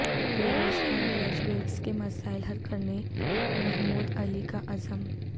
بیروزگار graduates کے مسائل حل کرنے محمود علی کا عزم